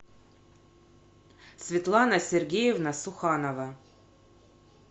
светлана сергеевна суханова